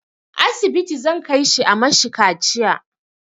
Asibiti zan kai shi a mashi kaciya